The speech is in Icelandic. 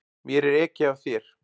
Mér er ekið af þér.